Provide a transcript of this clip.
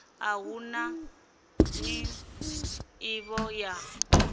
a hu na nḓivho ya